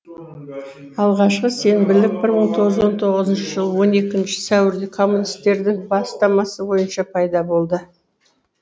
алғашқы сенбілік мың тоғыз жүз он тоғызыншы жылы он екінші сәуірде коммунистердің бастамасы бойынша пайда болды